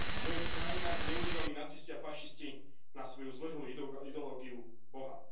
V mnohých krajinách zneužívali nacisti a fašisti na svoju zvrhlú ideológiu Boha.